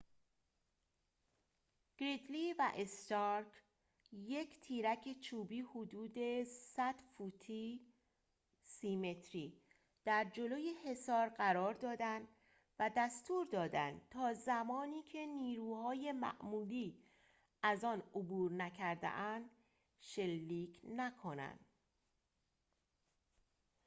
«گریدلی»‌ و «استارک» یک تیرک چوبی حدود 100 فوتی 30 متری در جلوی حصار قرار دادند و دستور دادند تا زمانی که نیروهای معمولی از آن عبور نکرده‌اند شلیک نکنند